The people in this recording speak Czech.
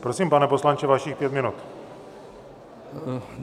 Prosím, pane poslanče, vašich pět minut.